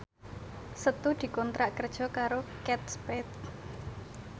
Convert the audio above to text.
Setu dikontrak kerja karo Kate Spade